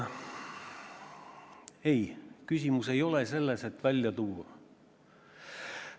Aga ei, küsimus ei ole selles, et neid probleeme välja tuua.